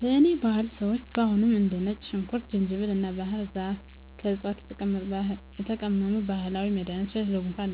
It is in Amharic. በእኔ ባህል ሰዎች አሁንም እንደ ነጭ ሽንኩርት፣ ዝንጅብል እና ባህር ዛፍ ከዕፅዋት የተቀመሙ ባህላዊ መድኃኒቶችን ለጉንፋን፣